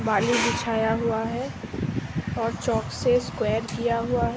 बाली बिछाया हुआ है और चॉक से स्क्वायर दिया हुआ है ।